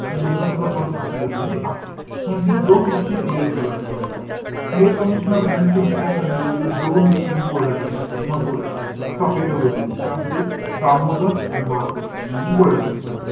आणि यांनासुद्धा परत फाशी झालेली आहे. म्हणजे, दोन गोष्टी clear कराय~ ठेवायच्यात. commssioner रँड ची हत्या करण्यामध्ये दोन व्यक्तींनी गोळ्या झाडल्या. त्या महत्वाच्या, चाफेकर बंधूनी. त्यामध्ये दामोदर आणि बाळकृष्ण, यांनी गोळ्या झाडल्या.